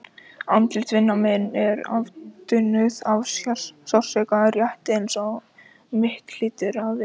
Andlit vina minna eru afmynduð af sársauka, rétt eins og mitt hlýtur að vera líka.